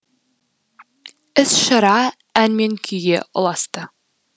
іс шара ән мен күйге ұласты